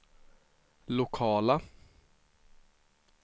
lokala